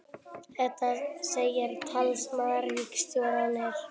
Þetta segir talsmaður ríkisstjórnarinnar